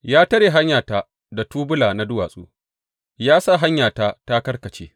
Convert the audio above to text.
Ya tare hanyata da tubula na duwatsu; ya sa hanyata ta karkace.